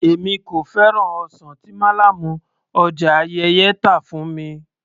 Èmi kò fẹ́ràn ọsàn tí málàmù ọjà Ayẹ́yẹ́ tà fún mi